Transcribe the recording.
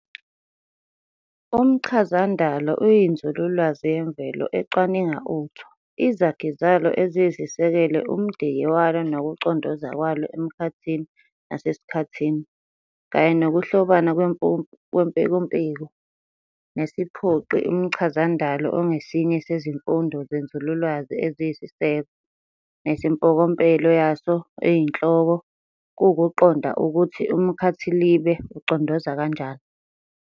Umchazandalo uyinzululwazi yemvelo ecwaninga utho, izakhi zalo eziyisisekelo, umdiki walo nokucondoza kwalo emkhathini nasesikhathini, kanye nokuhlobana kwempekumpeku nesiphoqi. Umchazandalo ongesinye sezifundo zenzululwazi eziyisiseko, nesimpokompelo yaso eyinhloko kuwukuqonda ukuthi umkhathilibe ucondoza kanjani.